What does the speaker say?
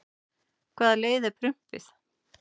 hvaða leið fer prumpið